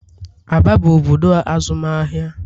Aba bụ obodo azụmahịa.